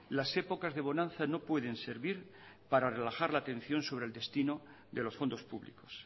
las épocas de bonanza no pueden servir para relajar la atención sobre el destino de los fondos públicos